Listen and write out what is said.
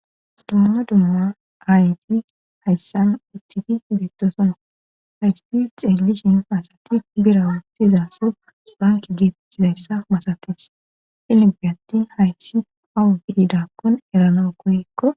dumma dumma aayti hayssan uthtidi beettosona hayspi xeeglishin paasati bira waassizaaso banki diettizayssa masates hinibi attin hayssi awubiidakkon erana koyekko